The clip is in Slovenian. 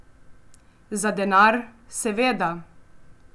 Za denar, seveda.